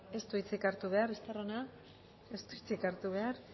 ez du hitzik hartu behar estarrona ez du hitzik hartu behar